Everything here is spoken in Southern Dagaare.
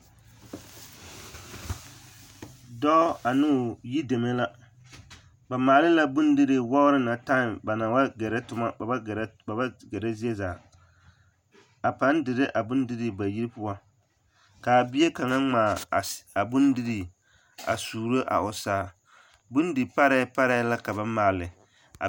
Dɔɔ ane o yideme la ba maala la bondirii wagiri na tam ba naŋ ba gɛrɛ tomɔ ba ba gɛrɛ zie zaa a pãã dire a bondirii ba yiri poɔ k'a bie kaŋa ŋmaa a bondirii a suuro a o saa, bondi parɛɛ parɛɛ la ka ba maale a.